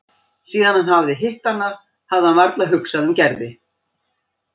Síðan hann hafði hitt hana hafði hann varla hugsað um Gerði.